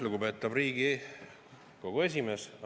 Lugupeetav Riigikogu esimees!